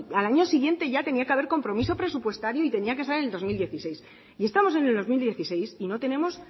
al año siguiente ya tenía que haber compromiso presupuestario y tenía que estar en el dos mil dieciséis y estamos en el dos mil dieciséis y no tenemos